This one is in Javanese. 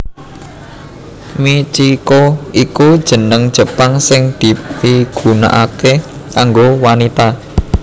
Michiko iku jeneng Jepang sing dipigunakaké kanggo wanita